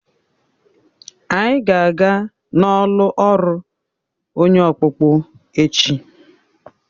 Anyị ga-aga n'ọlụ ọrụ onye ọkpụkpụ echi.